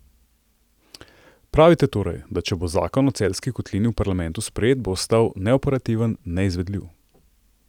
Pravite torej, da če bo zakon o Celjski kotlini v parlamentu sprejet, bo ostal neoperativen, neizvedljiv ...